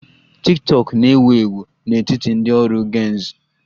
Tiktokụ na-ewu ewu n'etiti ndị ọrụ Gen z